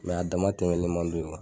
a dama tɛmɛnen man d'u ma.